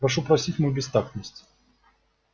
прошу простить мою бестактность